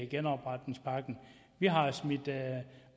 genopretningspakken vi har smidt